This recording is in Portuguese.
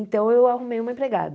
Então, eu arrumei uma empregada.